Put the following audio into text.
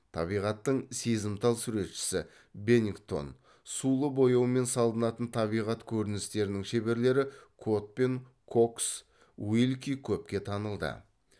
табиғаттың сезімтал суретшісі бенингтон сулы бояумен салынатын табиғат көріністерінің шеберлері котмен кокс уилки көпке танылды